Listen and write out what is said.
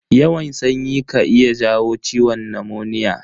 Yawan sanyi ka iya jawo ciwon namoniya.